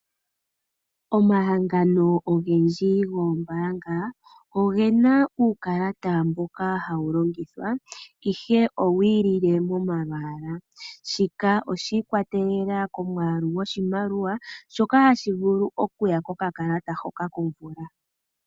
Omahangano ogendji goombaanga ogena uukalata mboka hawulongithwa ihe owilile momalwaala shika oshiikwatelela komwaalu goshimaliwa shoka hashi vulu okuya kokakalata hoka komvula.